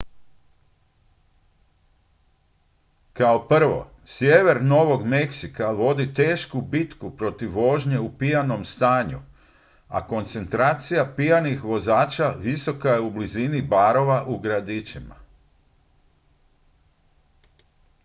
kao prvo sjever novog meksika vodi tešku bitku protiv vožnje u pijanom stanju a koncentracija pijanih vozača visoka je u blizini barova u gradićima